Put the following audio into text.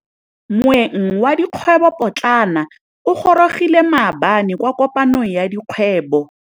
Moêng wa dikgwêbô pôtlana o gorogile maabane kwa kopanong ya dikgwêbô.